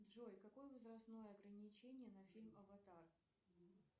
джой какое возрастное ограничение на фильм аватар